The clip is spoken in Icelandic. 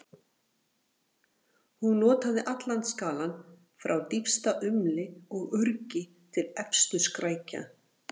Hún notaði allan skalann, frá dýpsta umli og urgi til efstu skrækja.